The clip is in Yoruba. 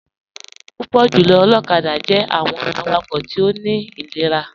Púpọ̀ jùlọ̀ olokada jẹ̀ àwọn àwàkọ̀ tí ó ní inírà.